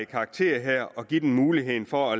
karakter og give dem mulighed for